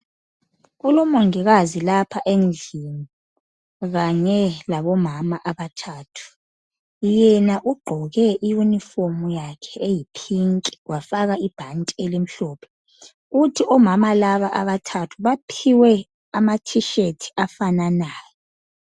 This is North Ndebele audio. Kulomongikazi lapha endlini kanye labomama abathathu yena ugqoke iyunifomu yakhe eyi pink wafaka ibhanti elimhlophe kuthi omama labo abathathu baphiwe ama thisheti afananayo.